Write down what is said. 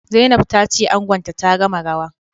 Zainab tace angonta ta gama rawa